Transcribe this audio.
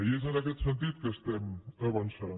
i és en aquest sentit que estem avançant